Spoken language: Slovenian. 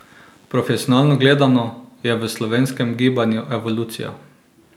Profesionalno gledano, je v slovenskem gibanju evolucija.